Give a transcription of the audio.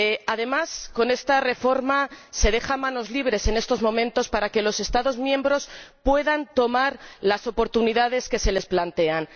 Además, con esta reforma, se deja manos libres en estos momentos para que los Estados miembros puedan aprovechar las oportunidades que se les plantean.